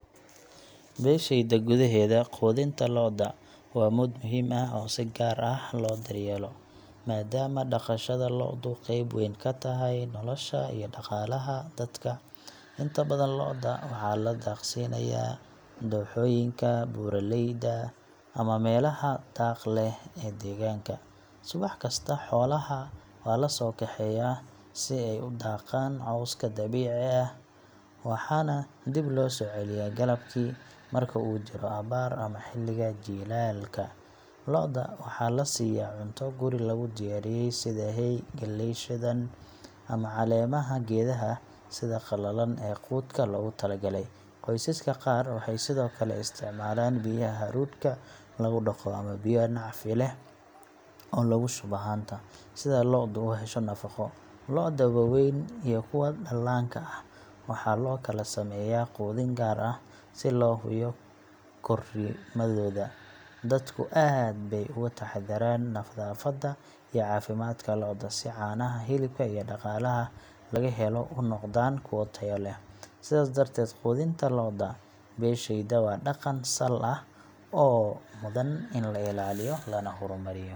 Beeshayda gudaheeda, quudinta lo’da waa mid muhiim ah oo si gaar ah loo daryeelo, maadaama dhaqashada lo’du qayb weyn ka tahay nolosha iyo dhaqaalaha dadka. Inta badan lo’da waxaa la daaqsiinayaa dooxooyinka, buuraleyda, ama meelaha daaqa leh ee deegaanka. Subax kasta, xoolaha waa la soo kaxeeyaa si ay u daaqaan cawska dabiiciga ah, waxaana dib loo soo celiyaa galabkii. Marka uu jiro abaar ama xilliga jiilaalka, lo’da waxaa la siiyaa cunto guri lagu diyaariyay sida hay, galley shiidan, ama caleemaha geedaha sida qalalan ee quudka loogu talagalay. Qoysaska qaar waxay sidoo kale isticmaalaan biyaha hadhuudhka lagu dhaqo ama biyo nacfi leh oo lagu shubo haanta, si lo’du u hesho nafaqo. Lo’da waaweyn iyo kuwa dhallaanka ah waxaa loo kala sameeyaa quudin gaar ah si loo hubiyo korriimadooda. Dadku aad bay uga taxadaraan nadaafadda iyo caafimaadka lo’da, si caanaha, hilibka iyo dhaqaalaha laga helo u noqdaan kuwo tayo leh. Sidaas darteed, quudinta lo’da beeshayda waa dhaqan sal leh oo mudan in la ilaaliyo lana horumariyo.